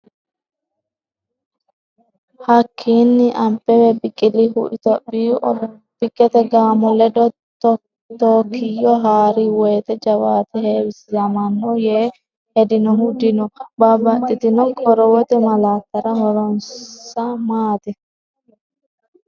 Hakkiinni Abbebe Biqilihu Itophiyu olompikete gaamo ledo Tookkiyo ha’ri wote jawaate heewisamanno yee hedinohu dino, Babbaxxitino qorowote malaattara horonsa maati?